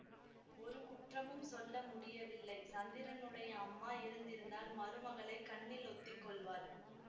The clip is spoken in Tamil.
ஒரு குற்றமும் சொல்ல முடியவில்லை சந்திரனுடைய அம்மா இருந்திருந்தால் மருமகளைக் கண்ணில் ஒத்திக் கொள்வாள்